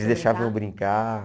Eles deixavam eu brincar.